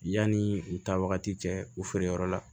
Yanni u taa wagati cɛ u feere yɔrɔ la